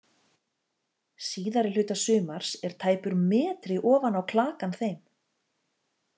Síðari hluta sumars er tæpur metri ofan á klakann þeim.